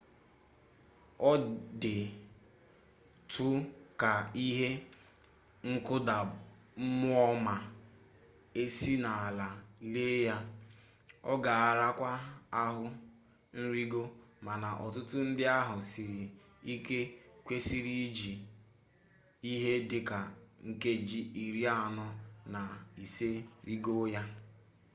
ọ dị tụ ka ihe nkụda mmụọ ma esi n'ala lee ya ọ ga-arakwa ahụ nrigo mana ọtụtụ ndi ahụ siri ike kwesịrị iji ihe dị ka nkeji iri anọ na ise rigoo ya